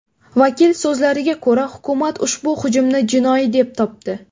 Vakil so‘zlariga ko‘ra, hukumat ushbu hujumni jinoiy deb topdi.